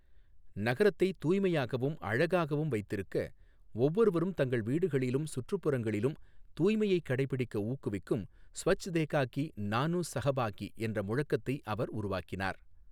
நகரத்தை தூய்மையாகவும், அழகாகவும் வைத்திருக்க ஒவ்வொருவரும் தங்கள் வீடுகளிலும், சுற்றுப்புறங்களிலும் தூய்மையை கடைப்பிடிக்க ஊக்குவிக்கும் 'ஸ்வச்தேகாகி நானு சஹபாகி' என்ற முழக்கத்தை அவர் உருவாக்கினார்.